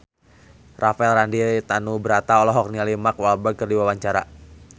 Rafael Landry Tanubrata olohok ningali Mark Walberg keur diwawancara